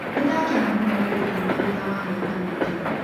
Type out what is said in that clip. Nĩndakena mũno nĩ gũkuona thutha wa mĩaka mĩingĩ